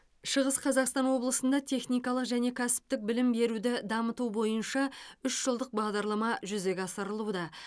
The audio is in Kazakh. шығыс қазақстан облысында техникалық және кәсіптік білім беруді дамыту бойынша үш жылдық бағдарлама жүзеге асырылуда